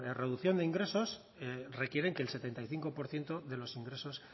reducción de ingresos requieren que el setenta y cinco por ciento de los ingresos